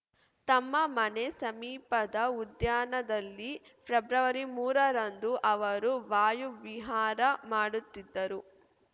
ತಮ್ಮ ಮನೆ ಸಮೀಪದ ಉದ್ಯಾನದಲ್ಲಿ ಫೆಬ್ರವರಿಮೂರ ರಂದು ಅವರು ವಾಯು ವಿಹಾರ ಮಾಡುತ್ತಿದ್ದರು